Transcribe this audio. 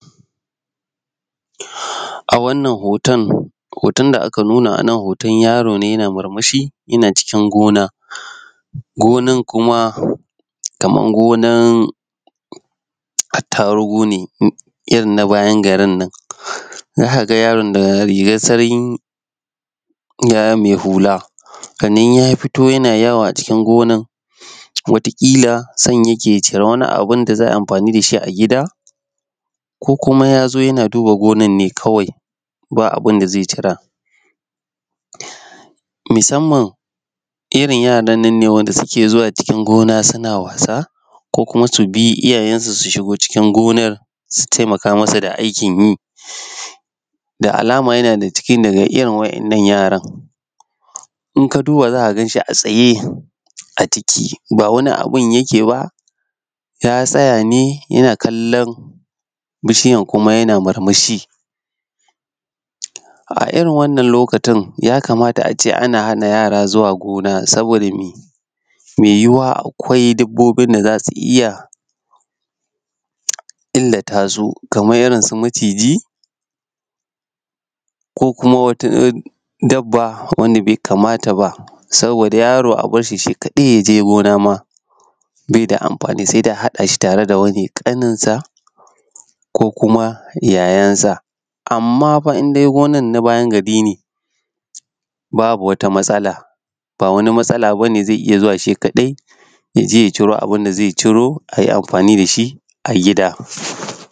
A wannan hoton hoton da aka nuna hoton yaro ne yana murmushi yana cikin gina gina r kuma kamar gonan attarugu ne irkn na bayan garin nan. Za ka ga yaron da rigar sanyi mai huka ya fito yana yawo a cikin gina wata kila son yake ya cira wani abu da za a yin amfani da shi a gida ko kuma ya zo yana duba gonar ne kawai babu abun da zai yi cira. Musamman irin yaran nan ne da suke zuwa cikin gona suna wasa ko kuma su bi iyayensu su shigo cikin gona su taimaka musu da aikin yi. Da alama yana dag ciki da iyayen waɗannan yaran. Idan ka duba za ka gan shi a tsaye ba wani abu yake yi ba, ya tsaya ne yana kallon bishiya kimanyan murmushi. A irin waɗannan lokutan ya kamata a ce ana hana yara zuwa gina saboda mai yuwuwa akwai dabbobin da za su iya illata su kamar irinsu maciji ko kuma wata dabba wanda bai kamata ba. Saboda yaro a bar shi shinkadai ya je gona baia da amfani sai dai s hada shi da wani ko kuma yayansa. Amma fa indai gina na bayan gari ne babu wata matsala zai ita zuwa shi kaɗainya ciro abun da zai ciro a yi amfani da shi a gida.